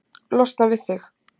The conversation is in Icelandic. Losna við þig?